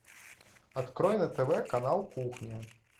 открой на тв канал кухня